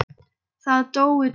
Það dóu tveir.